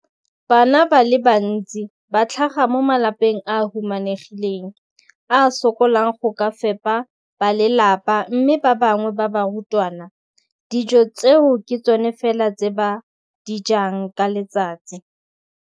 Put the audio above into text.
Bana ba le bantsi ba tlhaga mo malapeng a a humanegileng a a sokolang go ka fepa ba lelapa mme ba bangwe ba barutwana, dijo tseo ke tsona fela tse ba di jang ka letsatsi.